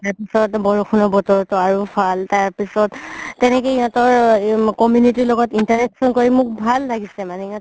তাৰ পিছৰ বৰষুণৰ বতৰতোত আৰু ভাল তাৰ পিছত তেনেকে সিহতৰ community লগত interaction কৰি ভাল লাগিছে মানে